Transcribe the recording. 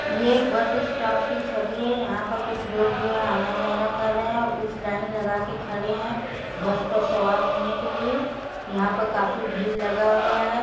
ये एक bus stop की छवि है। यहाँ पर कुछ लोग जो हैं आना-जाना कर रहे हैं और कुछ लाइन लगा के खड़े हैं बस पर सवार होने के लिए। यहाँ पर काफी भीड़ लगा हुआ है।